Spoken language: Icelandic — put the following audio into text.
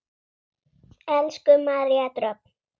Elsku María Dröfn.